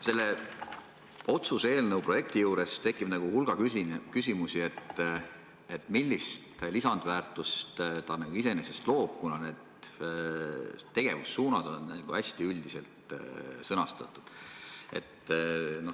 Selle otsuse eelnõu juures tekib hulga küsimusi, millist lisandväärtust see nagu iseenesest loob, kuna need tegevussuunad on hästi üldiselt sõnastatud.